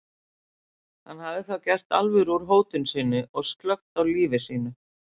Hún hafði þá gert alvöru úr hótun sinni og slökkt á lífi sínu.